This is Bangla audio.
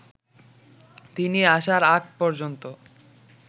তিনি আসার আগ পর্যন্ত